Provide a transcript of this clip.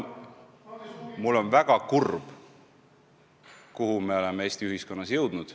Mul on väga kurb näha, kuhu me oleme Eesti ühiskonnas jõudnud.